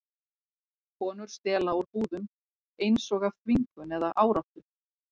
Konur stela úr búðum, eins og af þvingun eða áráttu.